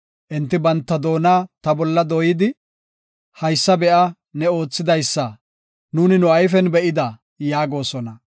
Enti banta doona ta bolla dooyidi, “Haysa be7a, ne oothidaysa nuuni nu ayfen be7ida” yaagosona.